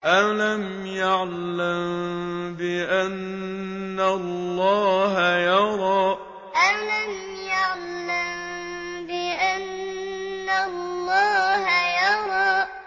أَلَمْ يَعْلَم بِأَنَّ اللَّهَ يَرَىٰ أَلَمْ يَعْلَم بِأَنَّ اللَّهَ يَرَىٰ